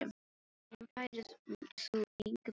Þar um færð þú engu breytt.